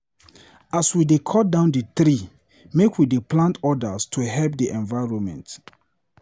As we dy cut down di tree, make we dey plant odas to help di evironment.